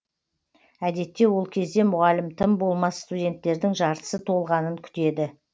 әдетте ол кезде мұғалім тым болмас студенттердің жартысы толғанын күтеді